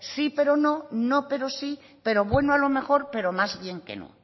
sí pero no no pero sí pero bueno a lo mejor pero más bien que no